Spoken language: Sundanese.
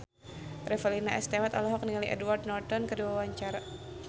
Revalina S. Temat olohok ningali Edward Norton keur diwawancara